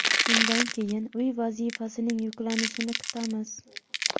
Shundan keyin uy vazifasining yuklanishini kutamiz.